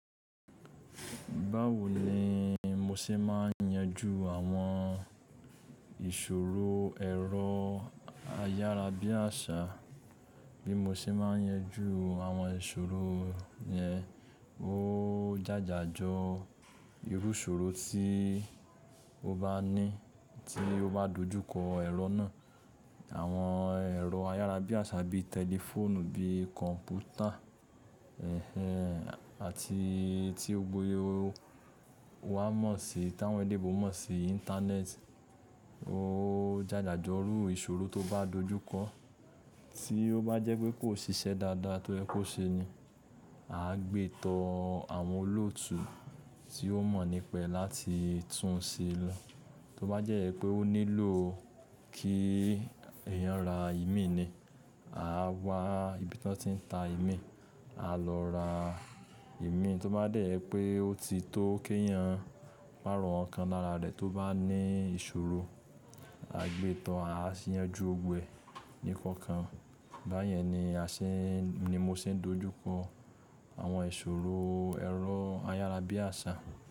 Báwo ni mo ṣe máa ń yanjú àwọn ìṣòro ẹ̀rọ ayárabíàṣá, bí mo ṣe máa ń yanjú àwọn ìṣòro yẹn, ó jà jà jọ irú ìṣòro tí ó bá ní tí ó bá dojúkọ ẹ̀rọ náà. Àwọn ẹ̀rọ ayárabíàṣá bí i tẹlifóònù, bí i kọ̀m̀pútà, ẹ́hẹ́n àti tí ó gboyè wà mọ̀ sí táwọn èleyinbo mọ̀ sí Íńtánẹ́ẹ̀tì ó jà jà jọ irú ìṣòro tó bá dojúkọ. Tí ó bá jẹ́ pé kò ṣiṣẹ́ dáadáa to ye kò ṣe ni, a gbé tán àwọn olótùú tí ó mọ̀ nípa ee láti tún un ṣe lọ. Tí ó bá jẹ́ pé ó nílò kí èèyàn ra ìmí ni, à wa ibi tí wọ́n ti ń ta ìmí, a lọ ra ìmí. Tí ó bá dẹ́ẹ̀ je pé ó ti tó kí èèyàn pàrọ̀ ǹkan lára rẹ̀ tí ó bá ní ìṣòro, a gbé tán a sì yanjú gbogbo eẹ̀ ní ìkọ̀kan. Bá yẹn ni a ṣe ní mo ṣe ń dojúkọ àwọn ìṣòro ẹ̀rọ ayárabíàṣá.